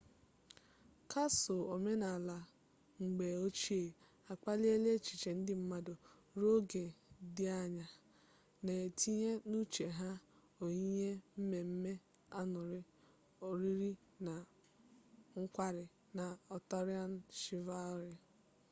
kasụl omenala mgbe ochie akpaliela echiche ndị mmadụ ruo oge dị anya na-etinye n'uche ha oyiyi mmemme añụrị oriri na nkwari na atọrịan shivalrị